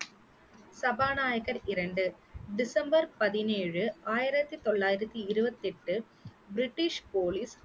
சபாநாயகர் இரண்டு டிசம்பர் பதினேழு ஆயிரத்தி தொள்ளாயிரத்தி இருபத்தி எட்டு பிரிட்டிஷ் போலீஸ்